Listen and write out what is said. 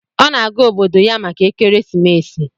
Ọ na-aga obodo ya maka ekeresimesi.